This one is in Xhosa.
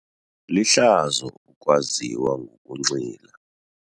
Lihlazo ukwaziwa ngokunxila.